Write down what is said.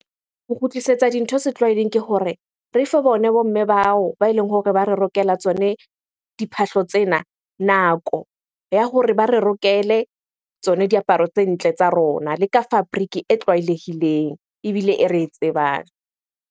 Ho kgutlisetsa dintho setlwaeding kehore re fe bone bo mme bao ba eleng hore ba re rokela tsone diphahlo tsena nako ya hore ba re rokele tsone diaparo tse ntle tsa rona. Le ka fabric-e e tlwaelehileng ebile e re e tsebang.